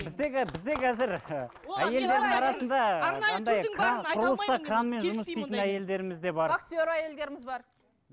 біздегі бізде қазір ы әйелдердің арасында құрылыста кранмен жұмыс істейтін әйелдеріміз де бар вахтер әйелдеріміз бар